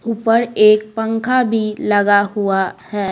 ऊपर एक पंखा भी लगा हुआ है।